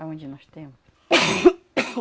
Aonde nós temos.